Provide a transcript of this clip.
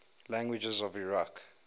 languages of iraq